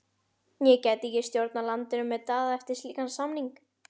Ég gæti ekki stjórnað landinu með Daða eftir slíkan samning.